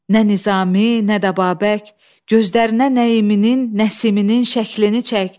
Nə Nizami, nə də Babək gözlərinə Nəiminin, Nəsiminin şəklini çək.